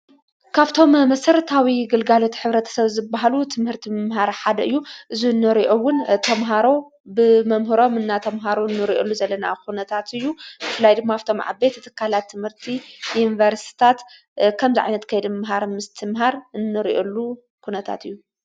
ካብቶም ምስረታው ግልጋለት ኅብረት ሰብ ዝበሃሉ ትምህርቲ ምምሃር ሓደ እዩ ዝነርኦውን ተምሃሮ ብመምህሮም እናተምሃሩ ኑርኦሉ ዘለና ዂነታት እዩ ፍላይ ድማኣፍቶም ዓቤት እተካህላት ትምህርቲ ዩንበርስታት ኸም ዛዕነት ከይድምሃር ምስትምሃር እኖርእዩሉ ኹነታት እዩ::